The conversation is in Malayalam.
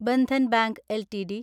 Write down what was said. Bandhan bank LTD